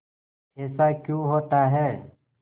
ऐसा क्यों होता है